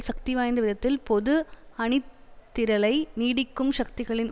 சக்திவாய்ந்த விதத்தில் பொது அணிதிரளலை நீடித்து சக்திகளின்